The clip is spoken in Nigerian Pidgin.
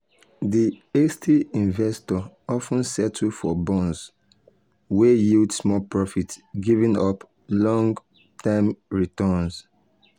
di hasty investor of ten settle for bonds wey yield small profit giving up long-term returns.